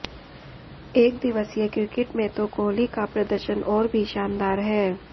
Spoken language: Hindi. एकदिवसीय क्रिकेट में तो कोहली का प्रदर्शन और भी शानदार है